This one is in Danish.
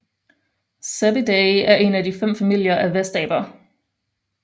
Cebidae er en af fem familier af vestaber